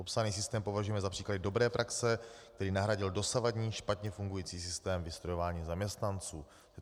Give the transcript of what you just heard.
Popsaný systém považujeme za příklad dobré praxe, který nahradil dosavadní, špatně fungující systém vystrojování zaměstnanců.